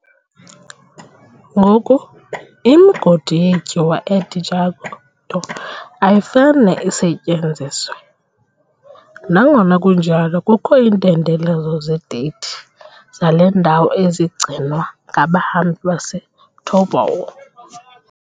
Ngoku, imigodi yetyuwa e-Djado ayifane isetyenziswe, nangona kunjalo kukho iintendelezo zedate zale ndawo ezigcinwa ngabahambi baseToubou.